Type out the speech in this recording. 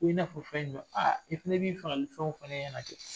Ko i n'a fɔ fɛn jumɛn aa i fana b'i fagalifɛnw fɔ n ɲɛna kɛ